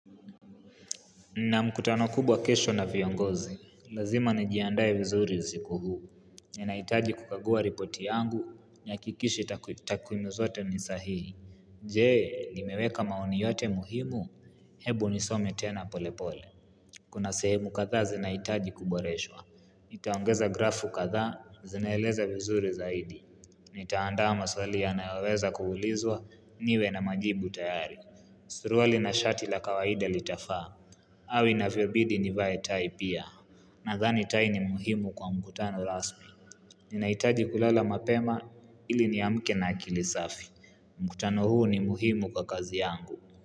Nina mkutano kubwa kesho na viongozi, lazima nijiandae vizuri usiku huu. Nahitaji kukagua ripoti yangu, nihakikishe takwimuzote ni sahihi. Je, nimeweka maoni yote muhimu, hebu nisome tena pole pole. Kuna sehemu kadha zinahitaji kuboreshwa. Nitaongeza grafu kadhaa, zinaeleza vizuri zaidi. Nitaanda maswali ya nayoweza kuulizwa, niwe na majibu tayari. Surualina shati la kawaida litafaa. Au inavyobidi nivaetai pia na dhani tai ni muhimu kwa mkutano rasmi ninahitaji kulala mapema ili ni amke na akili safi mkutano huu ni muhimu kwa kazi yangu.